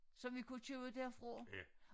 Som vi kunne købe derfra